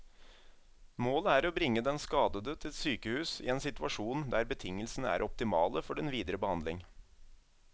Målet er å bringe den skadede til sykehus i en situasjon der betingelsene er optimale for den videre behandling.